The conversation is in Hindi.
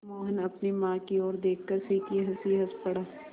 मोहन अपनी माँ की ओर देखकर फीकी हँसी हँस पड़ा